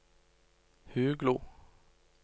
Huglo